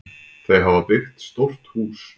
Þau hafa byggt stórt hús.